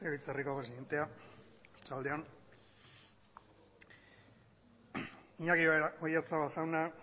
legebiltzarreko presidentea arratsalde on iñaki oyarzabal jauna